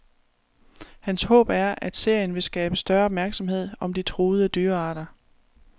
Hans håb er, at serien vil skabe større opmærksomhed om de truede dyrearter.